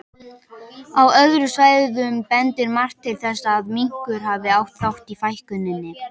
Á öðrum svæðum bendir margt til þess að minkur hafi átt þátt í fækkuninni.